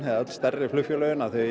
öll stærri flugfélögin að þau